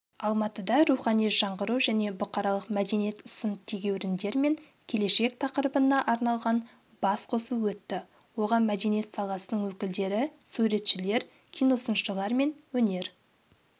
алматыда рухани жаңғыру және бұқаралық мәдениет сын-тегеуріндер мен келешек тақырыбына арналған басқосу өтті оған мәдениет саласының өкілдері суретшілер киносыншылар мен өнер